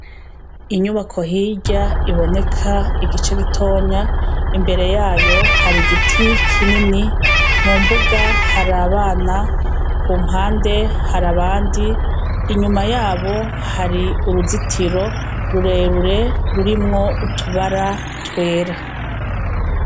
Inyubako hirya iboneka igice gitoya imbere yayo hari igiti kinini mu mbuga hari abana ku mpande hari abandi inyuma yabo hari uruzitiro rurerure rurimwo utubara twera.